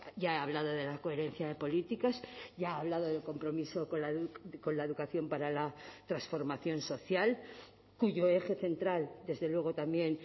ya ha hablado de la coherencia de políticas ya ha hablado del compromiso con la educación para la transformación social cuyo eje central desde luego también